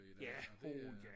ja åh ja